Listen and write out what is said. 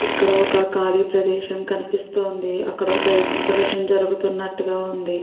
ఇక్కడ ఒక ఖాళీ ప్రదేశం కనిపిస్తోంది అక్కడ ఒక ఎక్సక్రషన్ జరుగుతున్నట్టుగా ఉంది.